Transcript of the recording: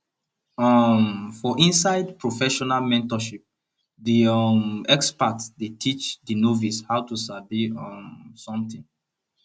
um for inside professional mentorship di um expert dey teach di novice how to sabi um something